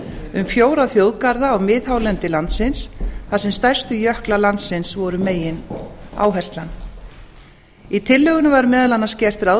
um fjóra þjóðgarða á mið hálendi landsins þar sem stærstu jöklar landsins voru megináherslan í tillögunni var meðal annars gert ráð